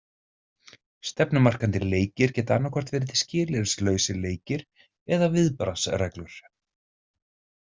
Stefnumarkandi leikir geta annaðhvort verið skilyrðislausir leikir eða viðbragðsreglur.